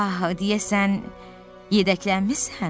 Ah, deyəsən yedəklənmisən?